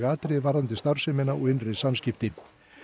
atriði varðandi starfsemina og innri samskipti